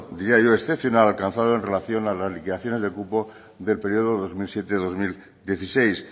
diario excepcional alcanzado en relación a las liquidaciones de cupo del periodo dos mil siete dos mil dieciséis